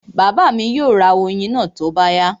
Bàbá mi yóò ra oyin náà tó bá yá